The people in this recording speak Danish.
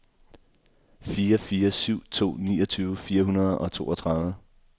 fire fire syv to niogtyve fire hundrede og toogtredive